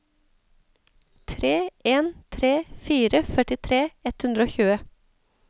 tre en tre fire førtitre ett hundre og tjue